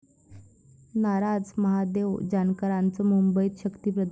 नाराज महादेव जानकरांचं मुंबईत शक्तीप्रदर्शन?